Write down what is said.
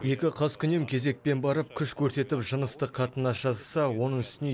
екі қаскүнем кезекпен барып күш көрсетіп жыныстық қатынас жасаса оның үстіне